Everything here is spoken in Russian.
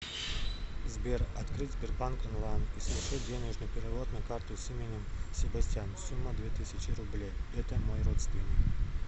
сбер открыть сбербанк онлайн и совершить денежный перевод на карту с именем себастьян сумма две тысячи рублей это мой родственник